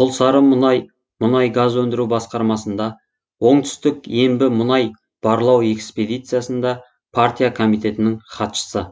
құлсарымұнай мұнай газ өндіру басқармасында оңтүстік ембі мұнай барлауэкспедициясында партия комитетініңхатшысы